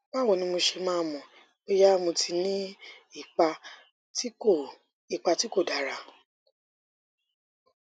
báwo ni mo ṣe máa mọ bóyá mo ti ní ipa tí kò ipa tí kò dára